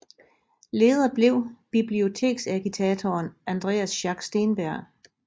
Leder blev biblioteksagitatoren Andreas Schack Steenberg